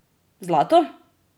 Zlato?